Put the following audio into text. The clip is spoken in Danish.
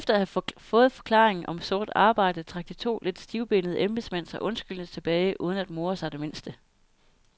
Efter at have fået forklaringen om sort arbejde, trak de to lidt stivbenede embedsmænd sig undskyldende tilbage uden at more sig det mindste.